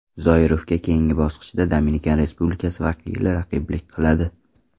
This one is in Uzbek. Zoirovga keyingi bosqichda Dominikan Respublikasi vakili raqiblik qiladi.